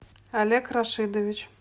олег рашидович